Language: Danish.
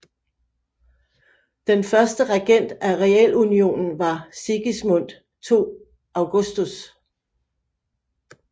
Den første regent af realunionen var Sigismund II Augustus